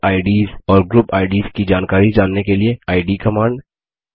user IDs और group IDs की जानकारी जानने के लिए इद कमांड